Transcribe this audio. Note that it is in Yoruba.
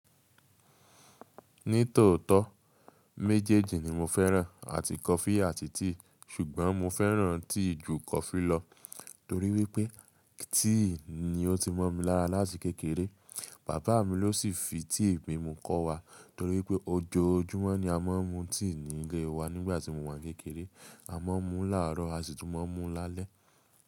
Ní tòótọ́ méjèèjì ni mo fẹ́ràn, àti coffee àti tea. Ṣùgbọ́n mo fẹ́ràn tea ju coffee lọ torí wípé tea ni ó ti mọ́ mi lára láti kékeré. Bàbá mi ló sì fi tea mimu kọ́ wa torí wípé ojoojúmọ́ ni a máa ń mu tea nílé wa nígbà tí mo wàn kékeré. A máa ń mu láárọ̀, a sì tún máa ń mu lálẹ́.